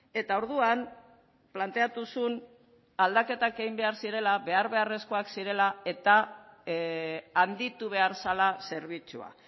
eta orduan planteatu zuen aldaketak egin behar zirela behar beharrezkoak zirela eta handitu behar zela zerbitzua